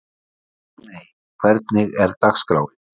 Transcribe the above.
Ragney, hvernig er dagskráin?